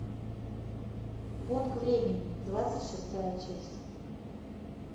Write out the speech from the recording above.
бонг времени двадцать шестая часть